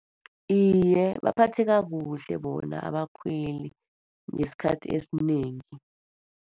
Iye, baphatheka kuhle bona abakhweli, ngesikhathi esinengi.